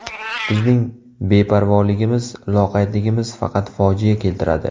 Bizning beparvoligimiz, loqaydligimiz faqat fojia keltiradi.